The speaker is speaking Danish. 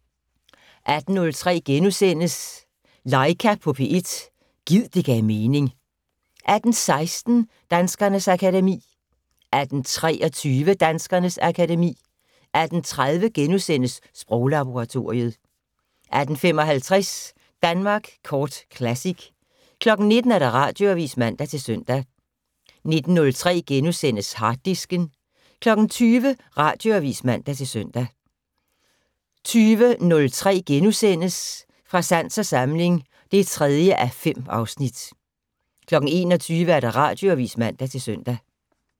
18:03: Laika på P1 - gid det gav mening * 18:16: Danskernes akademi 18:23: Danskernes akademi 18:30: Sproglaboratoriet * 18:55: Danmark Kort Classic 19:00: Radioavis (man-søn) 19:03: Harddisken * 20:00: Radioavis (man-søn) 20:03: Fra sans og samling (3:5)* 21:00: Radioavis (man-søn)